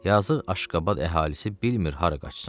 Yazıq Aşqabad əhalisi bilmir hara qaçsın.